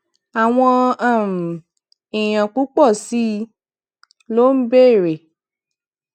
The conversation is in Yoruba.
àwọn um èèyàn púpò sí i ló ń béèrè